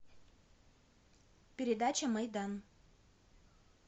передача майдан